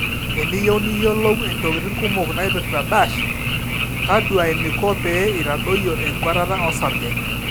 eniyieu niyiolu intokitin kumok naaiprta dash, taduaa eniko pee eitadoyio enkwetata osarge